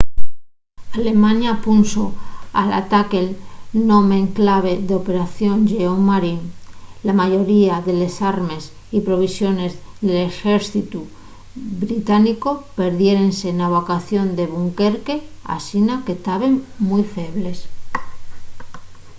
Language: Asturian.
alemaña punxo al ataque'l nome en clave de operación lleón marín”. la mayoría de les armes y provisiones del exércitu británicu perdiérense na evacuación de dunquerque asina que taben mui febles